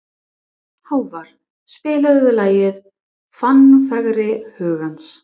Hávarr, spilaðu lagið „Fannfergi hugans“.